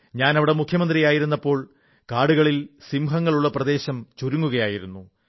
ഞാൻ അവിടെ മുഖ്യമന്ത്രി ആയിരുന്നപ്പോൾ കാടുകളിൽ സിംഹങ്ങളുള്ള വനപ്രദേശം ചുരുങ്ങുകയായിരുന്നു